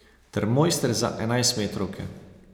Ter mojster za enajstmetrovke.